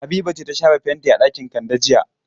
Habiba ce ta shafa fenti a ɗakin Kande jiya.